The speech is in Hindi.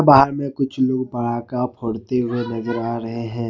बाहर में कुछ लोग पड़ाका फोड़ते हुए नजर आ रहे हैं।